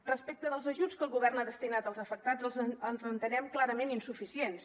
respecte dels ajuts que el govern ha destinat als afectats els entenem clarament insuficients